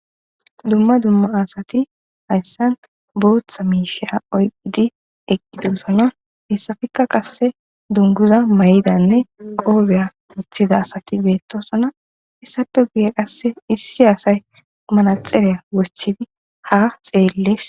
Dumma dumma asati hayssan booththa miisheya oyqidi eqqi duusona hessafikka qasse dunguza may7idanne qoobeya wuththida asati beettosona hissappe guye qasse issi asay manaxereya wosthidi ha xeelles